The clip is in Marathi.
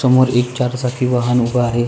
समोर एक चारचाकी वाहने ऊभे आहे.